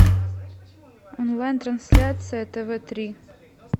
онлайн трансляция тв три